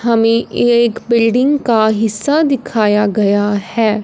हमें एक बिल्डिंग का हिस्सा दिखाया गया है।